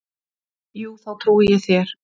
Jú, þá trúi ég þér.